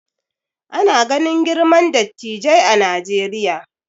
Ana ganin girman dattijai a Najeriya